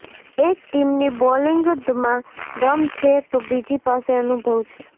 એક ટીમની બોલિંગમાં દમ છે તો બીજી પાસે અનુભવ છે